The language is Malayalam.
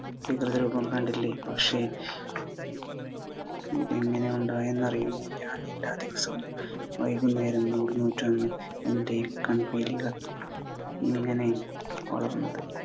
വികൃതരൂപം കണ്ടില്ലേ. പക്ഷെ ഇതെങ്ങനെ ഉണ്ടായെന്നറിയില്ല. ഞാനെല്ലാ ദിവസവും വൈകുന്നേരം നൂൽ നൂറ്റിരുന്നു എൻ്റെ ഈ കൺപീലികൾ ഇങ്ങനെ വളർന്നത്.